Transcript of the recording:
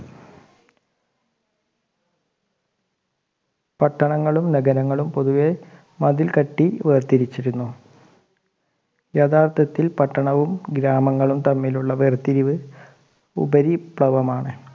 പട്ടണങ്ങളും നഗരങ്ങളും പൊതുവെ മതിൽ കെട്ടി വേർതിരിച്ചിരുന്നു യഥാർത്ഥത്തിൽ പട്ടണവും ഗ്രാമങ്ങളും തമ്മിലുള്ള വേർതിരിവ് ഉപരിവിപ്ലവമാണ്